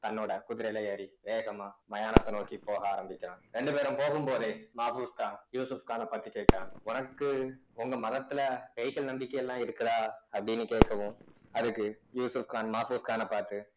தன்னோட குதிரையில ஏறி வேகமா மயானத்தை நோக்கி போக ஆரம்பிக்கிறான் ரெண்டு பேரும் போகும்போதே மாபோஸ்கான் யூசுப்கானை பாத்து கேட்டான் உனக்கு உங்க மதத்துல பேய்கள் நம்பிக்கை எல்லாம் இருக்குதா அப்படின்னு கேட்கவும் அதுக்கு யூசுப்கான் மாபோஸ்கான பார்த்து